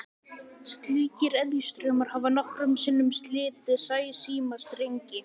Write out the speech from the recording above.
Slíkir eðjustraumar hafa nokkrum sinnum slitið sæsímastrengi.